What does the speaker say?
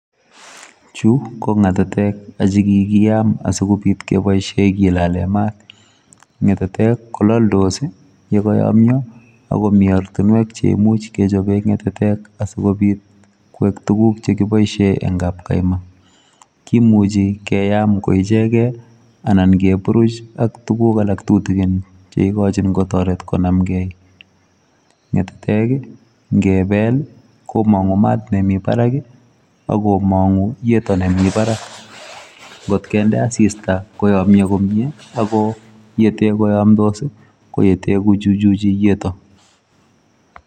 Chu ko ngatetek chi kikiyam asikobit keboisie kilale maat, ngetetek kolaldos ii ye kayamnyo ako mi ortinwek cheimuch kechobe ngetetek asikobit kwek tukuk che kiboisie eng kapkaima, kimuchi keyam koichekei anan keburuch ak tukuk alak tutikin cheikochin kotoret konamkei. Ngetetek ii ngebel ii, komongu maat nemi barak ii ako mongu yeto nemi barak, ngot kende asista koyomnyo komie ako yete koyamdos ii ko yete kochuchuchi yeto.